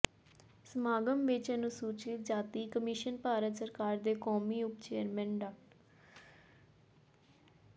ਸਮਾਗਮ ਵਿੱਚ ਅਨੁਸੂਚਿਤ ਜਾਤੀ ਕਮਿਸ਼ਨ ਭਾਰਤ ਸਰਕਾਰ ਦੇ ਕੌਮੀ ਉਪ ਚੇਅਰਮੈਨ ਡਾ